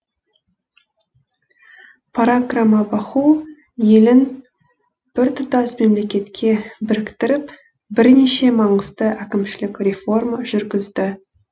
паракрамабаху елін біртұтас мемлекетке біріктіріп бірнеше маңызды әкімшілік реформа жүргізді